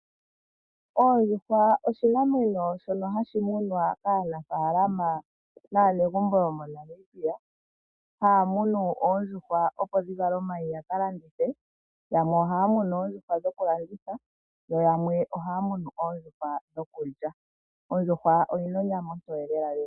Oondjuhwa oshinamwenyo shono hashi munwa kaanafaalama naanegumbo mo Namibia, haya munu oondjuhwa opo dhivale omayi ya kalandithe. yamwe ohaya munu oondjuhwa dhokulanditha yo yamwe ohaya munu oondjuhwa dhokulya. Oondjuhwa odhina onyama ombwaanawa